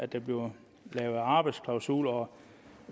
der bliver lavet arbejdsklausuler